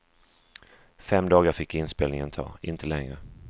Fem dagar fick inspelningen ta, inte längre.